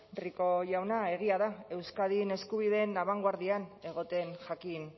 rico jauna egia da euskadin eskubideen abangoardian egoten jakin